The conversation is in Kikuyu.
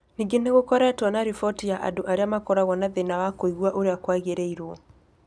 Ningĩ nĩ gũkoretwo na riboti ya andũ arĩa makoragwo na thĩna wa kũigua ũrĩa kwagĩrĩrwo